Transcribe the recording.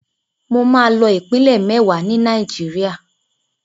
Mo máa lọ ìpínlẹ̀ mẹ́wàá ni Nàìjíríà.